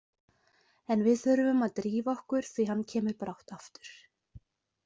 En við þurfum að drífa okkur því hann kemur brátt aftur